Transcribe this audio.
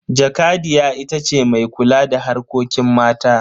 Jakadiya ita ce mai kula da harkokin mata.